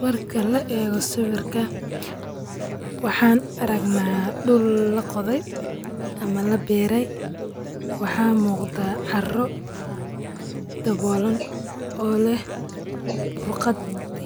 Marka laaego sawirka waxaan aragnaa dul laqodhey ama labeerey waxaa muqda caro daboolan oo leh burqad